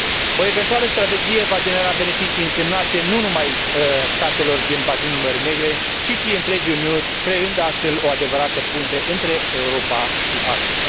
O eventuală strategie va genera beneficii însemnate nu numai statelor din bazinul Mării Negre, ci și întregii Uniuni, creând astfel o adevărată punte între Europa și Asia.